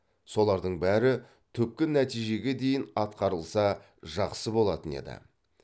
солардың бәрі түпкі нәтижеге дейін атқарылса жақсы болатын еді